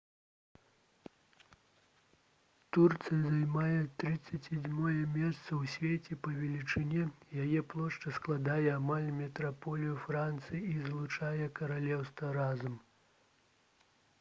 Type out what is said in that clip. турцыя займае 37-е месца ў свеце па велічыні яе плошча складае амаль метраполію францыі і злучанае каралеўства разам